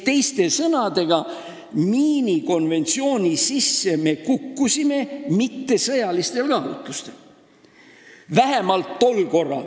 Teiste sõnadega, vähemalt tol korral kukkusime me miinidevastase konventsiooni sisse mittesõjalistel kaalutlustel.